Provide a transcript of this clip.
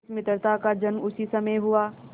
इस मित्रता का जन्म उसी समय हुआ